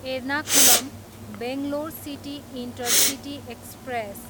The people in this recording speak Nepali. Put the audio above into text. Ernakulam, Bangalore city intercity express